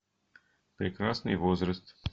прекрасный возраст